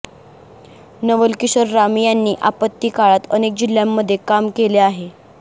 नवलकिशोर राम यांनी आपत्ती काळात अनेक जिल्ह्यांमध्ये काम केले आहे